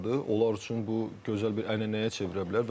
Onlar üçün bu gözəl bir ənənəyə çevrə bilər.